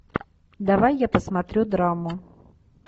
давай я посмотрю драму